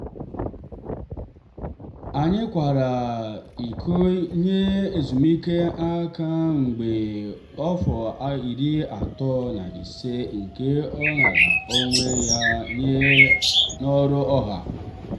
anyị kwara iko nye ezumike nká mgbe afọ iri atọ na ise nke ọ raara onwe ya nye n'ọrụ. ọha.